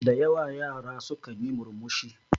Da yawa yara su kanyi murmushi